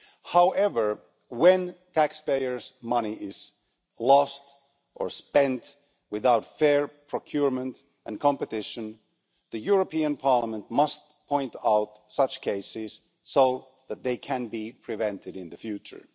However when taxpayers' money is lost, or spent without fair procurement and competition, the European Parliament must point out such cases so that they can be prevented in the future.